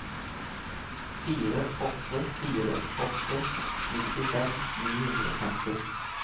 fire åtte fire åtte nittifem ni hundre og femti